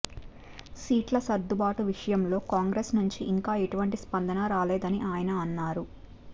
సీట్ల సర్దుబాటు విషయంలో కాంగ్రెస్ నుంచి ఇంకా ఎటువంటి స్పందనా రాలేదని ఆయన అన్నారు